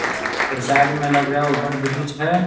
और साइड में लग रहा है ओवर ब्रिज है।